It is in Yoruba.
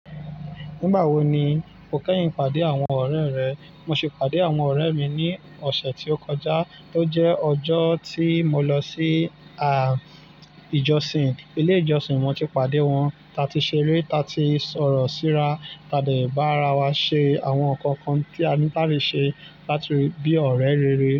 Nígbà wo ni o kẹ́yìn pàdé àwọn ọ̀rẹ́ rẹ? Mo ṣe pàdé àwọn ọ̀rẹ́ mi ní ọ̀sẹ̀ tí ó kọjá, tó jẹ́ ọjọ́ tí mo lọ sí, à, ìjọsìn. Ilé ìjọsìn mo ti pàdé wọn, ta tí ṣeré, ta tí sọ̀rọ̀ síra, ta de bára wa ṣe àwọn ǹkan kan tí a ní làti ṣe, láti bí ọ̀rẹ́ rere.